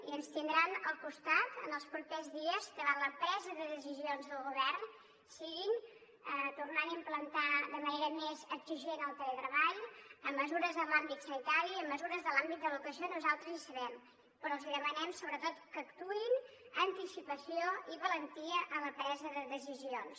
i ens tindran al costat en els propers dies davant la presa de decisions del govern sigui tornant a implantar de manera més exigent el teletreball amb mesures en l’àmbit sanitari i amb mesures de l’àmbit de l’educació nosaltres hi serem però els demanem sobretot que actuïn anticipació i valentia en la presa de decisions